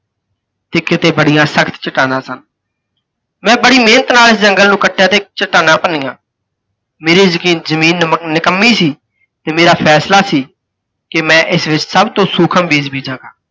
ਤੇ ਕਿਤੇ ਬੜੀਆਂ ਸਖ਼ਤ ਚੱਟਾਨਾਂ ਸਨ। ਮੈਂ ਬੜੀ ਮਿਹਨਤ ਨਾਲ ਇਸ ਜੰਗਲ ਨੂੰ ਕੱਟਿਆ ਤੇ ਚੱਟਾਨਾਂ ਭੰਨੀਆਂ। ਮੇਰੀ ਜ ਜਮੀਨ ਨ ਨਿਕੰਮੀ ਸੀ ਤੇ ਮੇਰਾ ਫੈਸਲਾ ਸੀ, ਕਿ ਮੈਂ ਇਸ ਵਿੱਚ ਸਭ ਤੋਂ ਸੂਖਮ ਬੀਜ ਬੀਜਾਂ।